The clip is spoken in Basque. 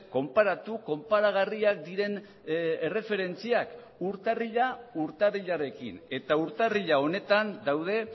konparatu konparagarriak diren erreferentziak urtarrila urtarrilarekin eta urtarrila honetan daude